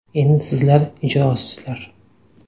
Endi sizlar ijrosizlar.